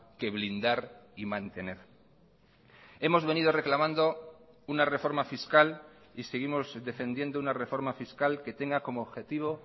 que blindar y mantener hemos venido reclamando una reforma fiscal y seguimos defendiendo una reforma fiscal que tenga como objetivo